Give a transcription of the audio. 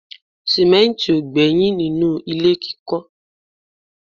sìmẹ́ntì ò gbẹ́yìn nínú ilé kíkọ́